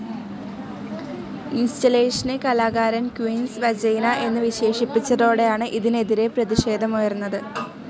ഇൻസ്റ്റലേഷനെ കലാകാരൻ queen's vagina എന്ന് വിശേഷിപ്പിച്ചതോടെയാണ് ഇതിനെതിരെ പ്രതിഷേധമുയർന്നത്.